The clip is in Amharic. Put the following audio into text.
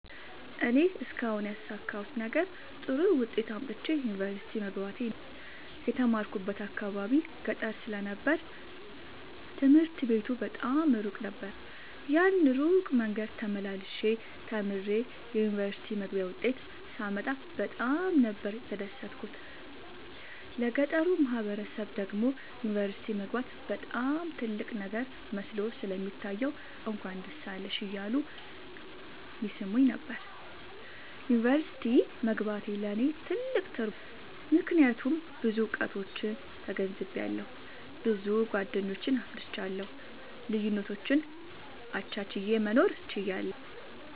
እኔ እስካሁን ያሣካሁት ነገር ጥሩ ዉጤት አምጥቼ ዩኒቨርሲቲ መግባቴ ነዉ። የተማርኩበት አካባቢ ገጠር ስለ ነበር ትምህርት ቤቱ በጣም እሩቅ ነበር። ያን እሩቅ መንገድ ተመላልሸ ተምሬ የዩኒቨርሲቲ መግቢያ ዉጤት ሳመጣ በጣም ነበር የተደሠትኩት ለገጠሩ ማህበረሠብ ደግሞ ዩኒቨርሲቲ መግባት በጣም ትልቅ ነገር መስሎ ስለሚታየዉ እንኳን ደስ አለሽ እያሉ ይሥሙኝ ነበር። ዩኒቨርሢቲ መግባቴ ለኔ ትልቅ ትርጉም አለዉ። ምክያቱም ብዙ እዉቀቶችን ተገንዝቤአለሁ። ብዙ ጎደኞችን አፍርቻለሁ። ልዩነቶችን አቻችየ መኖር እችላለሁ።